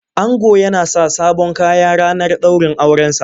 Ango yana sa sabon Kaya ranar daurin aure sa.